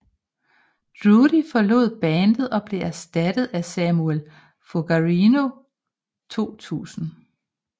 Drudy forlod bandet og blev erstattet af Samuel Fogarino 2000